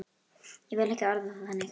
Ég vil ekki orða það þannig.